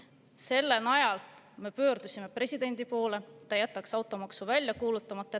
Selle najal me pöördusime presidendi poole, et ta jätaks automaksu välja kuulutamata.